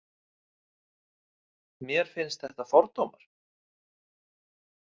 Mér finnst þetta fordómar.